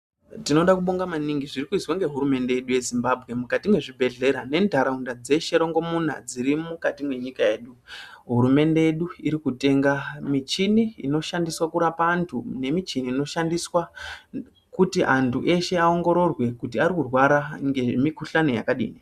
Tinoda kubonha maningi zvirikuizwe ngehurumende yedu yeZimbabwe mukati mezvibhedhlera nentaraunda dzeshe dzirimukati mwenyika yedu hurumende yedu irikutenga michina inokwanise kurapa antu ngemichini inokwanise kuona kuti vantu varikurwara zvakadii.